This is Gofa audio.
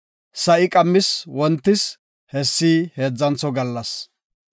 Sa7i qammis wontis; hessi heedzantho gallas.